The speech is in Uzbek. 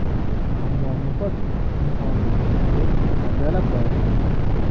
Ammo muhit insonni tez tarbiyalab qo‘yarkan.